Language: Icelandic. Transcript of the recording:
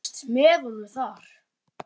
Þú varst með honum þar?